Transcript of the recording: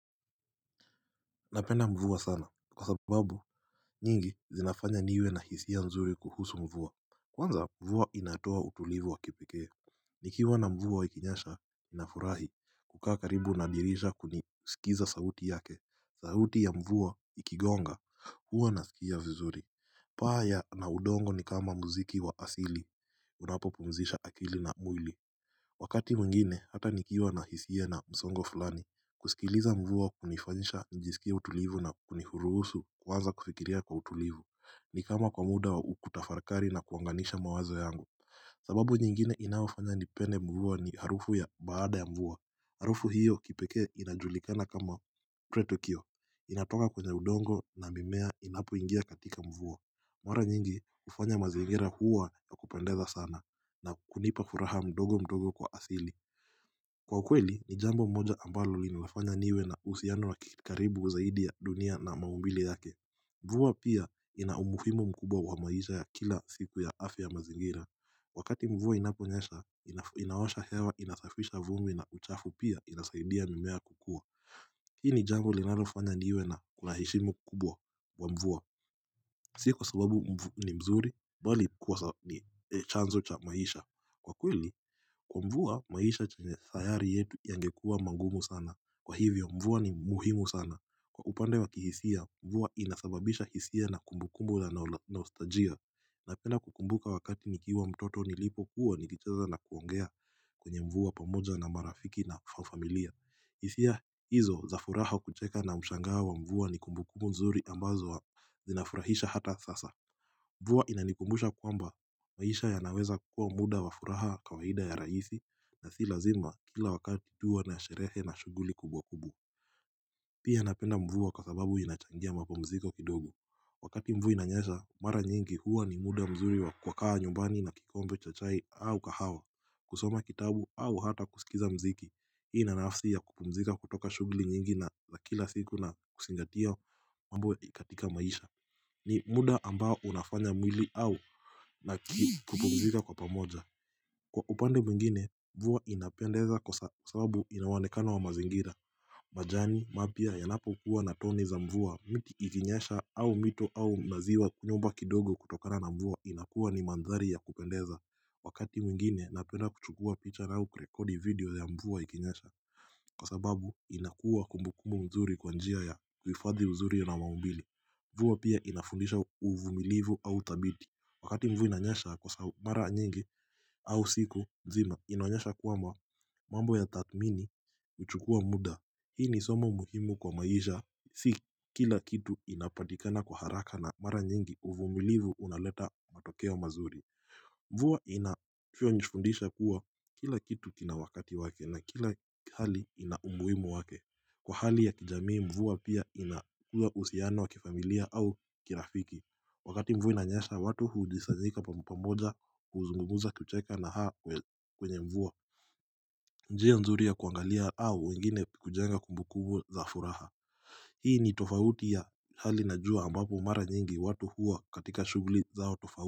Napenda mvua sana kwa sababu nyingi zinafanya niwe na hisia nzuri kuhusu mvua Kwanza mvua inatoa utulivu wa kipikee Nikiwa na mvua ikinyesha nafurahi kukaa karibu na dirisha kunisikiza sauti yake sauti ya mvua ikigonga huwa nasikia vizuri paa na udongo ni kama mziki wa asili unapopumzisha akili na mwili Wakati mwingine hata nikiwa na hisia na msongo fulani kusikiliza mvua kunifanisha njisikia utulivu na kunihuruusu kuwanza kufikiria kwa utulivu ni kama kwa muda wa ukutafakari na kuunganisha mawazo yangu sababu nyingine inafanya nipende mvua ni harufu ya baada ya mvua Harufu hiyo kipekee inajulikana kama kre tokio inatoka kwenye udongo na mimea inapo ingia katika mvuwa Mwara nyingi ufanya maziingira huwa ya kupendeza sana na kunipa furaha mdogo mdogo kwa asili Kwa ukweli ni jambo mmoja ambalo li nilafanya niwe na usiano wa kikaribu zaidi ya dunia na maumbili yake Mvua pia ina umuhimo mkubwa wa maisha ya kila siku ya afya mazingira Wakati mvua inaponyesha inawasha hewa inasafisha vumbi na uchafu pia inasaidia mimea kukua Hii ni jambo linilofanya niwe na kulahishimo kubwa wa mvua Si kwa sababu ni mzuri bali kuwa ni chanzo cha maisha Kwa kweli, kwa mvua, maisha chenye sayari yetu yangekuwa magumu sana. Kwa hivyo, mvua ni muhimu sana. Kwa upande wa kihisia, mvua inasababisha hisia na kumbukumbu la naostalgia. Napenda kukumbuka wakati nikiiwa mtoto nilipo kuwa nikicheza na kuongea kwenye mvua pamoja na marafiki na fafamilia. Hisia hizo za furaha kucheka na mshangao wa mvua ni kumbukumbu mzuri ambazo wa zinafurahisha hata sasa Mvua inanikumbusha kwamba, maisha yanaweza kukua muda wa furaha kawaida ya raisi na si lazima kila wakati duwa na asherehe na shuguli kubwa kubu Pia napenda mvua kwa sababu inachangia mapumziko kidogo Wakati mvua inanyesha, mara nyingi huwa ni muda mzuri wa kukaa nyumbani na kikombe cha chai au kahawa kusoma kitabu au hata kusikiza mziki Hii ina nafsi ya kupumzika kutoka shughuli nyingi na za kila siku na kuzingatia mambo ya katika maisha ni muda ambao unafanya mwili au na kupumzika kwa pamoja Kwa upande mwingine mvua inapendeza kwa sababu inaonekana wa mazingira majani mapya yanapokuwa na tone za mvua miti ikinyesha au mito au maziwa nyumba kidogo kutokana na mvua inakuwa ni mandhari ya kupendeza Wakati mwingine napenda kuchukua picha au kurekodi video ya mvua ikinyasha Kwa sababu inakuwa kumbukumbu mzuri kwa njia ya kuhifadhi uzuri na maumbile Mvua pia inafundisha uvumilivu au thabiti Wakati mvu inanyesha kwa mara nyingi au siku nzima inaonyesha kuwa mambo ya tathmini huchukua muda Hii ni somo muhimu kwa maisha Si kila kitu inapatikana kwa haraka na mara nyingi uvumilivu unaleta matokeo mazuri Mvuwa inavyo njifundisha kuwa kila kitu kina wakati wake na kila hali ina umuhimu wake Kwa hali ya kijamii mvua pia inakuwa uhusiano wa kifamilia au kirafiki Wakati mvua inanyesha watu huujisazika pamoja huzungumuza kucheka na haa kwenye mvuwa njia nzuri ya kuangalia au wengine kujenga kumbu kumbu za furaha Hii ni tofauti ya hali na jua ambapo mara nyingi watu hua katika shughuli zao tofauti.